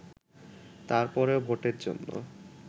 তারপরেও ভোটের জন্য